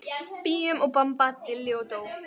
Bíum og bamba og dilli og dó.